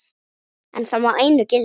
En það má einu gilda.